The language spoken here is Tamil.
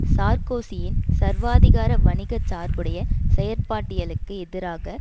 சார்க்கோசியின் சர்வாதிகார வணிக சார்புடைய செயற்பட்டியலுக்கு எதிராக